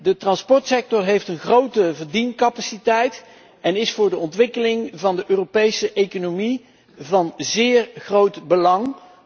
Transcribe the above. De transportsector heeft een grote verdiencapaciteit en is voor de ontwikkeling van de Europese economie van zeer groot belang